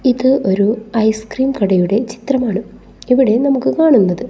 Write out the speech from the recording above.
ഇത് ഒരു ice cream കടയുടെ ചിത്രമാണ് ഇവിടെ നമുക്ക് കാണുന്നത്.